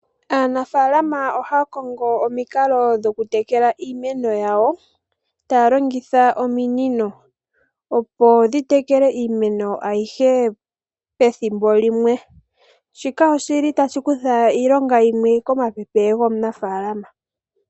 Aanafaalama oha ya kongo omikalo dhoku tekela iimeno yawo, taya longitha ominino opo dhi tekele iimeno ayihe pethimbo limwe. Shika oshi li tashi kutha iilonga yimwe komapepe gomunafaalama.